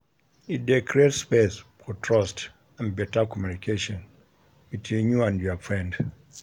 E de create space for trust and better communication between you and your friend